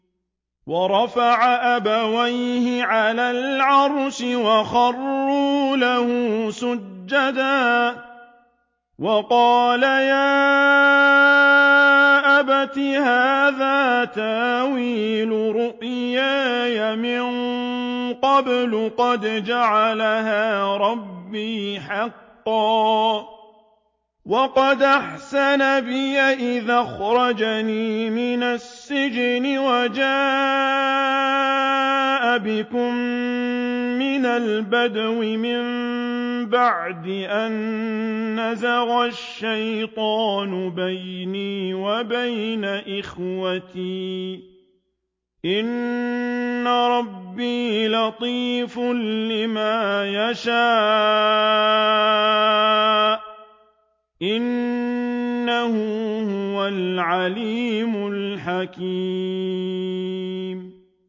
وَرَفَعَ أَبَوَيْهِ عَلَى الْعَرْشِ وَخَرُّوا لَهُ سُجَّدًا ۖ وَقَالَ يَا أَبَتِ هَٰذَا تَأْوِيلُ رُؤْيَايَ مِن قَبْلُ قَدْ جَعَلَهَا رَبِّي حَقًّا ۖ وَقَدْ أَحْسَنَ بِي إِذْ أَخْرَجَنِي مِنَ السِّجْنِ وَجَاءَ بِكُم مِّنَ الْبَدْوِ مِن بَعْدِ أَن نَّزَغَ الشَّيْطَانُ بَيْنِي وَبَيْنَ إِخْوَتِي ۚ إِنَّ رَبِّي لَطِيفٌ لِّمَا يَشَاءُ ۚ إِنَّهُ هُوَ الْعَلِيمُ الْحَكِيمُ